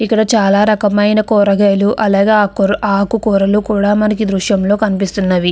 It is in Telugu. ఇక్కడ చానా రాయమయిన కూరగాయలు అలాగే అక్ ఆకుకూరలు కూడా మనకి ఈ దృశ్యం లో కనిపిస్తున్నవి.